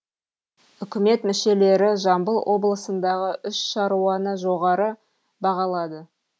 үкімет мүшелері жамбыл облысындағы үш шаруаны жоғары бағалады